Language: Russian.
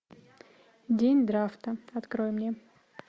день драфта открой мне